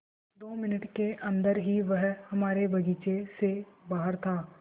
दो मिनट के अन्दर ही वह हमारे बगीचे से बाहर था